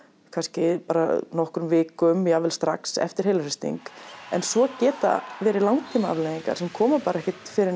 kannski nokkrum vikum jafnvel strax eftir heilahristing en svo geta verið langtímaafleiðingar sem koma bara ekkert fyrr en